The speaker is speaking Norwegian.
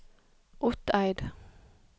Otteid